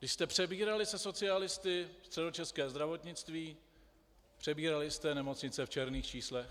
Když jste přebírali se socialisty středočeské zdravotnictví, přebírali jste nemocnice v černých číslech.